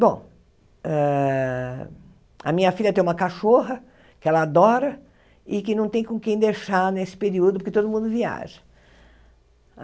Bom, hã a minha filha tem uma cachorra que ela adora e que não tem com quem deixar nesse período, porque todo mundo viaja.